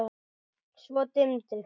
Svo dimmdi.